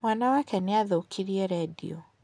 Mwana wake nĩ athũkirie redio.